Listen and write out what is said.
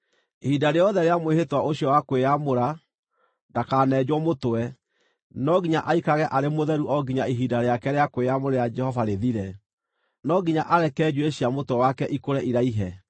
“ ‘Ihinda rĩothe rĩa mwĩhĩtwa ũcio wa kwĩyamũra, ndakanenjwo mũtwe. No nginya aikarage arĩ mũtheru o nginya ihinda rĩake rĩa kwĩyamũrĩra Jehova rĩthire; no nginya areke njuĩrĩ cia mũtwe wake ikũre iraihe.